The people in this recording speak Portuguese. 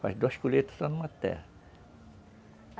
Faz duas colheitas só numa terra.